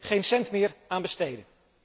Geen cent meer aan besteden!